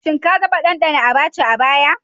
Shin ka taɓa ɗanɗana Abacha a baya?